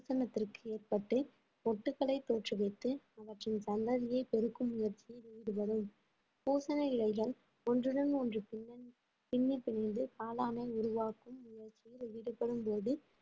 பூசனத்திற்கு ஏற்பட்டு மொட்டுக்களை தோற்றுவித்து அவற்றின் சந்ததியை பெருக்கும் முயற்சியில் ஈடுபடும் பூசன இலைகள் ஒன்றுடன் ஒன்று பிணைந்~ பிண்ணி பிணைந்து காளானை உருவாக்கும் முயற்சியில் ஈடுபடும்போது